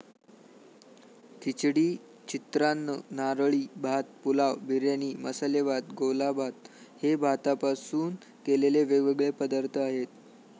खिचडी, चित्रान्न, नारळी भात, पुलाव, बिर्याणी, मसाले भात, गोलाभात हे भातापासून केलेले वेगवेगळे पदार्थ आहेत.